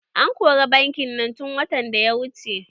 An kori bankin nan tun watan da ya wuce.